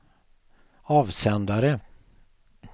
avsändare